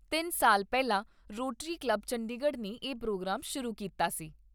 ਤਿੰਨ ਸਾਲ ਪਹਿਲਾ ਰੋਟਰੀ ਕਲੱਬ ਚੰਡੀਗੜ੍ਹ ਨੇ ਇਹ ਪ੍ਰੋਗਰਾਮ ਸ਼ੁਰੂ ਕੀਤਾ ਸੀ।